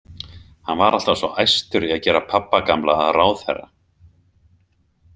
Hann var alltaf svo æstur í að gera pabba gamla að ráðherra.